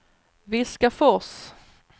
Viskafors